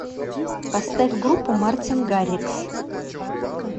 поставь группу мартин гаррикс